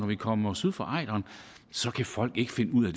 vi kommer syd for ejderen så kan folk ikke finde ud af